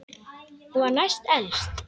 Hún var næst elst.